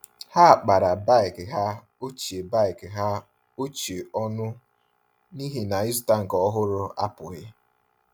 Ha kpara bike ha ochie bike ha ochie ọnụ n’ihi na ịzụta nke ọhụrụ apụghị.